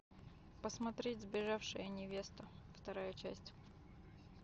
посмотреть сбежавшая невеста вторая часть